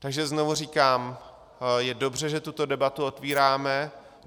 Takže znovu říkám, je dobře, že tuto debatu otvíráme.